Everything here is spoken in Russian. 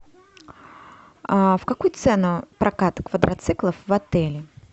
в какую цену прокат квадроциклов в отеле